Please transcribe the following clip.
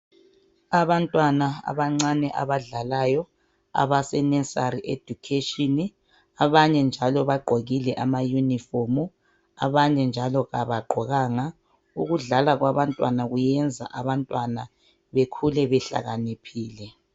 Abantwana abancane abadlalayo abase nursery education abanye njalo bagqokile amayunifomu abanye njalo abagqokanga ukudlala kwabantwana kuyenza abantwana bekhule behlakaniphile.